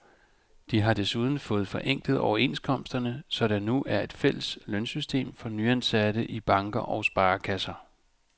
De har desuden fået forenklet overenskomsterne, så der nu er et fælles lønsystem for nyansatte i banker og sparekasser.